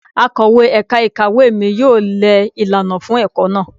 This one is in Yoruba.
Akọ̀wé ẹ̀ka ìkàwé mi yóò lẹ ìlànà fún ẹ̀kọ́ náà.